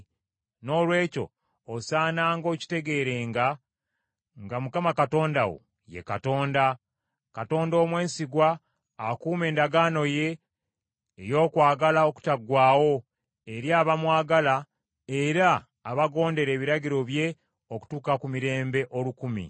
Noolwekyo osaananga okukitegeeranga nga Mukama Katonda wo ye Katonda; Katonda omwesigwa akuuma endagaano ye ey’okwagala okutaggwaawo eri abamwagala era abagondera ebiragiro bye okutuuka ku mirembe olukumi.